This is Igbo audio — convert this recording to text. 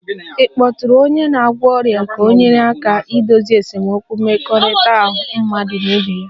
Ịkpọtụrụ onye na-agwọ ọrịa ga-enyere aka dozie esemokwu mmekọrịta mmadụ na ibe ya